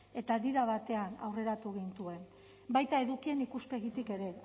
eta di da batean aurreratu gintuen baita edukien ikuspegitik ere